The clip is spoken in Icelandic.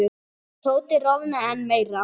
Tóti roðnaði enn meira.